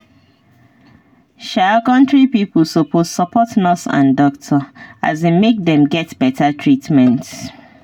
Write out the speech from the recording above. um country pipo suppose support nurse and doctor um make dem get better treatment.